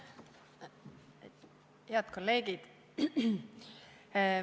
Head kolleegid!